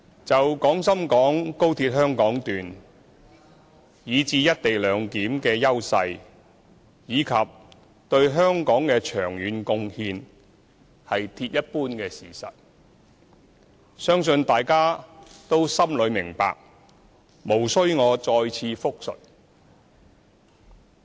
就廣深港高鐵，以至"一地兩檢"的優勢，以及對香港的長遠貢獻，是鐵一般的事實，相信大家心裏都明白，無須我再次複述。